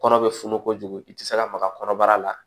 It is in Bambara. Kɔnɔ bɛ funu kojugu i tɛ se ka maga kɔnɔbara la